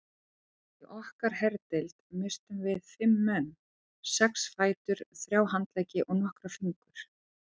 Í okkar herdeild misstum við fimm menn, sex fætur, þrjá handleggi og nokkra fingur.